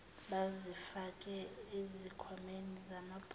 bazifake ezikhwameni zamabhulukwe